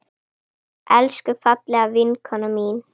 Elsku, fallega vinkona mín.